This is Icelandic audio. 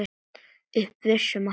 Upp að vissu marki.